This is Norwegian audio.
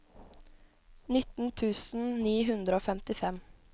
nitten tusen ni hundre og femtifem